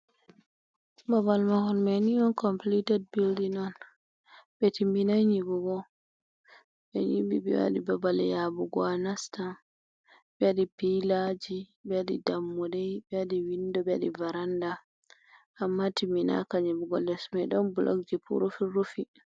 Babal mahol me ni on complited bildin on ɓetimminai nyiɓugo ɓe nyɓi ɓe waɗi babal yaɓugo a nasta ɓe waɗi pilaji ɓe waɗi dammuɗe, ɓe waɗi windo, ɓewaɗi varanda, amma timinaka nyiɓugo les mai ɗon blog je fu rufi rufi.